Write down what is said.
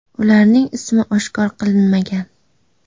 Ularning ismi oshkor qilinmagan.